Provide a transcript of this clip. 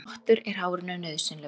Þvottur er hárinu nauðsynlegur.